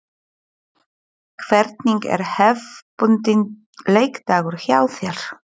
Hvernig er hefðbundinn leikdagur hjá þér?